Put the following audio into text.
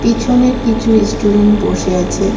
পিছনে কিছু ইস্টুডেন্ট বসে আছে.